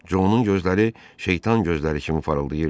Conun gözləri şeytan gözləri kimi parıldayırdı.